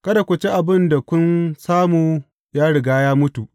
Kada ku ci abin da kun samu ya riga ya mutu.